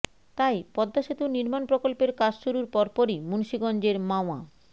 তাই পদ্মা সেতুর নির্মাণ প্রকল্পের কাজ শুরুর পরপরই মুন্সিগঞ্জের মাওয়া